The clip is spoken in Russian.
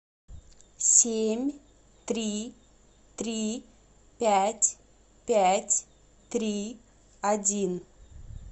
семь три три пять пять три один